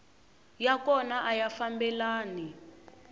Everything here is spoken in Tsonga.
ya kona a ya fambelani